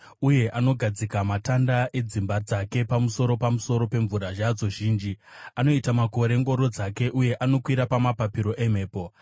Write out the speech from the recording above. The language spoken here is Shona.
uye anogadzika matanda edzimba dzake dzapamusoro pamusoro pemvura yadzo zhinji. Anoita makore ngoro dzake, uye anokwira pamapapiro emhepo.